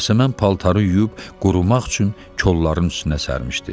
Yasəmən paltarı yuyub qurumaq üçün kolların üstünə sərmişdi.